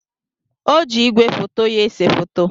O ji igwefoto ya ese foto.